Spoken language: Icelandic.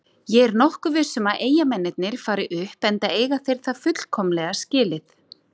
Ég er nokkuð viss um að Eyjamennirnir fari upp enda eiga þeir það fullkomlega skilið.